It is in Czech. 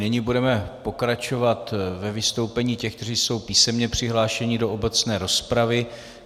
Nyní budeme pokračovat ve vystoupení těch, kteří jsou písemně přihlášeni do obecné rozpravy.